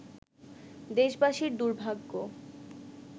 দেশবাসীর দুর্ভাগ্য